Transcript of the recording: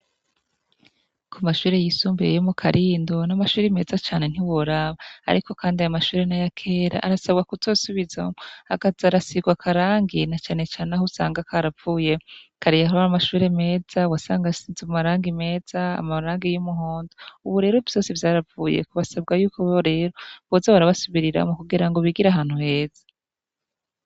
Ku mashure yisumbiye yo mu karindo n'amashuri meza cane ntiworaba, ariko kandi aya mashure n'ayakera arasabwa kuzosubiza akaza arasirwa akarangi na canecane aho usanga karavuyeko kare yahora ari amashure meza wasanga asiza amaragi meza amabaragi y'umuhondo, ubu rero vyose vyaravuyeko basabwa yuko boze barabasubirira mu kugira ngo bigira ahantu heza.